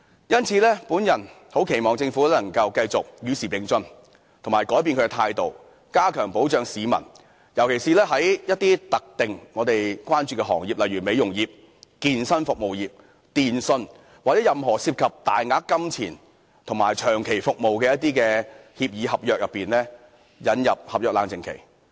因此，我很期望政府能夠繼續與時並進及改變態度，加強保障市民，尤其是一些我們關注的特定行業，例如美容業、健身服務業、電訊，或在任何涉及大額金錢及長期服務的一些協議合約裏引入合約冷靜期。